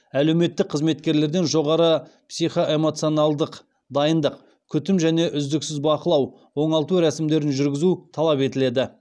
әлеуметтік қызметкерлерден жоғары психоэмоционалдық дайындық күтім және үздіксіз бақылау оңалту рәсімдерін жүргізу талап етіледі